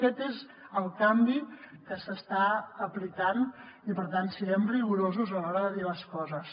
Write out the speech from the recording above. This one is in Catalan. aquest és el canvi que s’està aplicant i per tant siguem rigorosos a l’hora de dir les coses